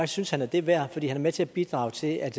synes han er det værd fordi han er med til at bidrage til at